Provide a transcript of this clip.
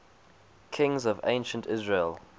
kings of ancient israel